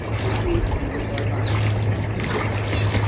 kuɣisi bɛ kuligi noli maani